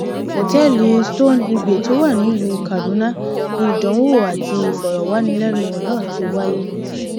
ọtẹẹlì stonehégbé tó wà nílùú kaduna ni ìdánwò àti ìfọrọwánilẹnuwò náà ti wáyé